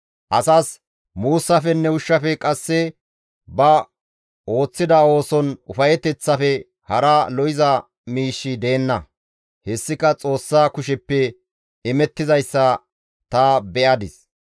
Asas muussafenne ushshafe qasse ba ooththida ooson ufayeteththafe hara lo7iza miishshi deenna; hessika Xoossa kusheppe imettizayssa ta beyadis.